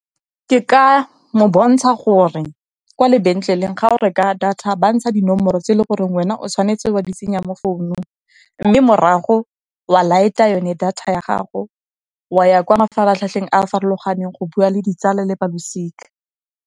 Ke ka mo bontsha gore, kwa lebetleleng ga o reka data ba ntsha dinomoro tse e le goreng wena o tshwanetse wa di tsenya mo founung, mme morago wa light-a yone data ya gago, wa ya kwa mafaratlhatlheng a a farologaneng go bua le ditsala le balosika.